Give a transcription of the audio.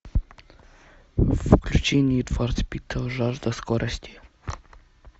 включи нид фор спид жажда скорости